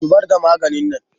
Zubar da maganin nan!